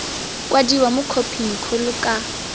kwadiwa mo khophing kgolo ka